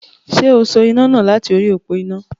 Ṣé o so iná náà láti orí òpo iná.